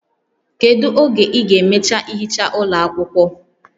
Kedu oge ị ga-emecha ihicha ụlọ akwụkwọ?